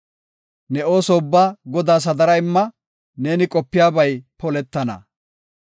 Ne ooso ubbaa Godaas hadara imma; neeni qopidabay poletana.